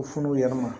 U fununen ma